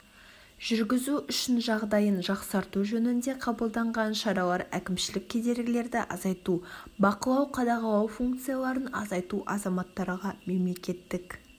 жүргізу үшін жағдайын жақсарту жөнінде қабылданған шаралар әкімшілік кедергілерді азайту бақылау-қадағалау функцияларын азайту азаматтарға мемлекеттік